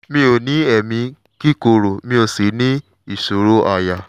mi ò ní èémí kíkorò mi ò sì ní ìṣòro àyà